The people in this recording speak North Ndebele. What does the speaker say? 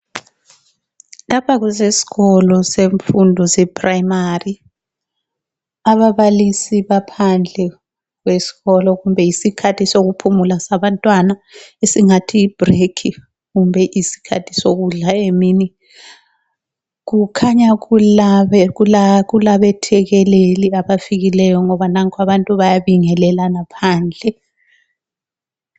Lapha kusesikolo semfundo se phrayimari, ababalisi baphandle kwesikolo kumbe yisikhathi sokuphumula kwabantwana, esingathi yi bhrekhi kumbe isikhathi sokudla emini kukhanya kulabe thekeleli abafikileyo ngoba nanku abantu bayabingelelana phandle.